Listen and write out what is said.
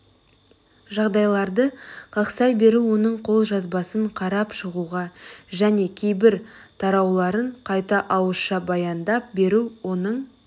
жағдайларды қақсай беру оның қолжазбасын қарап шығуға және кейбір тарауларын қайта ауызша баяндап беру оның